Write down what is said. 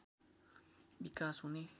विकास हुने